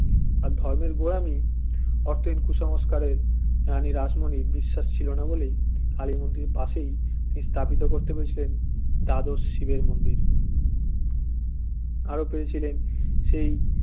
ধর্মের গোড়ামী অতএব কুসংস্কারে রানী রাসমনির বিশ্বাস ছিল না বলেই কালী মন্দিরের পাশেই স্থাপিত করতে পেরেছিল দ্বাদশ শিবের মন্দির আরও পেরেছিলেন সেই